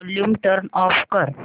volume turn off कर